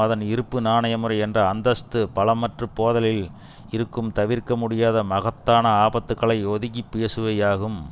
அதன் இருப்பு நாணயமுறை என்ற அந்தஸ்து பலமற்றுபோதலில் இருக்கும் தவிர்க்க முடியாத மகத்தான ஆபத்துக்களை ஒதுக்கிப் பேசுபவை ஆகும்